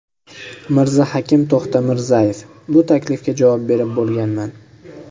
Mirzahakim To‘xtamirzayev: Bu taklifga javob berib bo‘lganman.